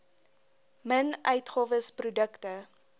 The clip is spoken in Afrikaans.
min uitgawes produkte